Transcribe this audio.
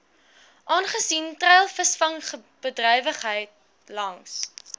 aangesien treilvisvangbedrywighede langs